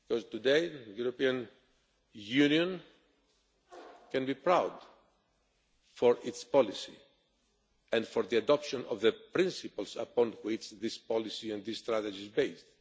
Today the European Union can be proud of its policy and of the adoption of the principles upon which this policy and this strategy is